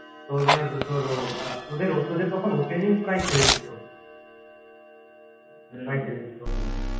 তোদের তোর ও তোদের তখন opening প্রায় ছেড়ে দিত